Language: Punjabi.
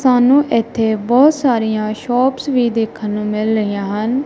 ਸਾਨੂੰ ਇਥੇ ਬਹੁਤ ਸਾਰੀਆਂ ਸ਼ੋਪਸ ਵੀ ਦੇਖਣ ਨੂੰ ਮਿਲ ਰਹੀਆਂ ਹਨ।